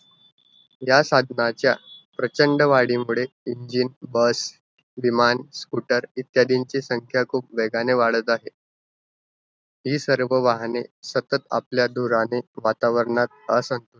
या साधनांच्या प्रचंड वाढीमुळे engine, bus विमान, scooter इत्यादींची संख्या खूप वेगाने वाढत आहे. हि सर्व वाहने सतत आपल्या धुराने वातावरणात असंतुलन,